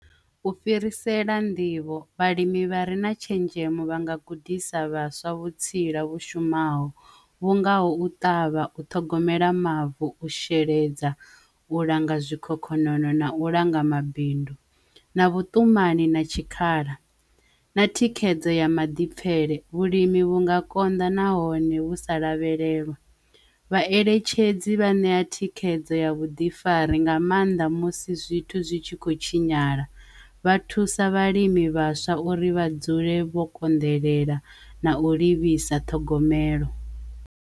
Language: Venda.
U fhirisela nḓivho vhalimi vha re na tshenzhemo vha nga gudisa vhaswa vhutsila vhu shumaho vhu ngaho u ṱavha, u ṱhogomela mavu, u sheledza, u langa zwikhokhonono na u langa mabindu na vhutumani na tshikhala na thikhedzo ya maḓipfele vhulimi vhunga konḓa nahone vhu sa lavhelelwa vhaeletshedzi vha ṋea thikhedzo ya vhuḓifari nga maanḓa musi zwithu zwi tshi kho tshinyala vha thusa vhalimi vhaswa uri vha dzule vho konḓelela na u livhisa ṱhogomelo.